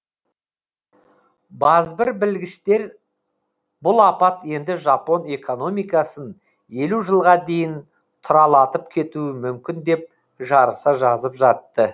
базбір білгіштер бұл апат енді жапон экономикасын елу жылға дейін тұралатып кетуі мүмкін деп жарыса жазып жатты